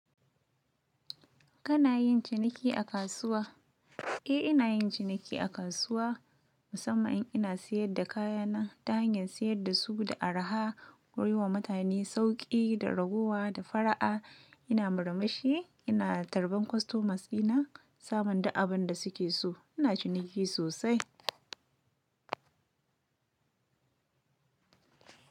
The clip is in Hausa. Kana yin ciniki a kasuwa? Eh, ina yin ciniki a kasuwa, musamman ina siyar da kaya na ta hanyar siyar dasu da araha, wurin wa mutane sauƙi da raguwa da fara'a. Ina murmushi, ina tarban kostomas ina samun da abin da suke so. Ina ciniki sosai.